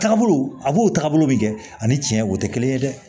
Taagabolo a b'o taabolo bi kɛ ani tiɲɛ o te kelen ye dɛ